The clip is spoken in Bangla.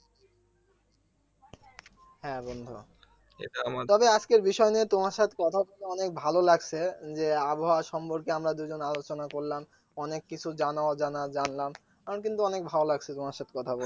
হ্যা বন্ধু তবে আজকের বিষয় নিয়ে তোমার সাথে কথা বলে অনেক ভালো লাগছে যে আবহাওয়া সম্পর্কে আমরা দুজন আলোচনা করলাম অনেক কিছু জানা অজানা জানলাম আমার কিন্তু ভালো লাগছে তোমার সাথে কথা বলে